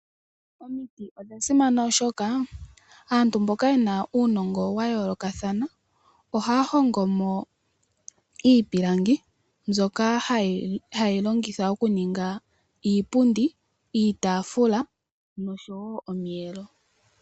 Omiti odhasimana oshoka aantu mboka yena uunongo wayooloka ohaya hongo mo iipilangi mbyoka hayi longithwa okuninga iipundi, iitaafula nosho wo omiyelo.